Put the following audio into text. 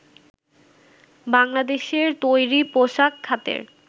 বাংলাদেশের তৈরি পোশাক খাতের